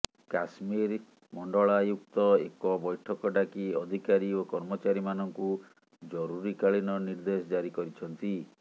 କାଶ୍ମୀର ମଣ୍ଡଳାୟୁକ୍ତ ଏକ ବୈଠକ ଡାକି ଅଧିକାରୀ ଓ କର୍ମଚାରୀମାନଙ୍କୁ ଜରୁରିକାଳୀନ ନିର୍ଦ୍ଦେଶ ଜାରି କରିଛନ୍ତି